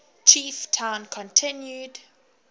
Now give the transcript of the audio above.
chief town continued